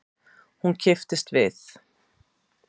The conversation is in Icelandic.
Hún kipptist við.